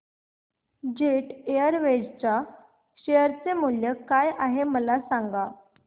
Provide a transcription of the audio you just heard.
jet Airways च्या share चे मूल्य काय आहे मला सांगा